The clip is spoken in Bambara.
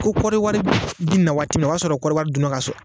Ko kɔɔri wari bɛ na waati min na o y'a sɔrɔ kɔɔri wari dunna ka ban